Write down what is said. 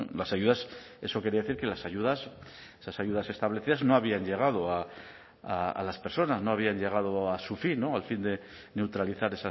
las ayudas eso quería decir que las ayudas esas ayudas establecidas no habían llegado a las personas no habían llegado a su fin al fin de neutralizar